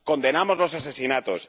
Condenamos los asesinatos